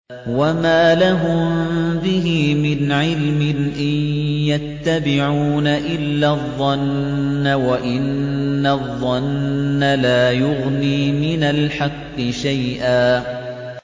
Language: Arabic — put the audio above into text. وَمَا لَهُم بِهِ مِنْ عِلْمٍ ۖ إِن يَتَّبِعُونَ إِلَّا الظَّنَّ ۖ وَإِنَّ الظَّنَّ لَا يُغْنِي مِنَ الْحَقِّ شَيْئًا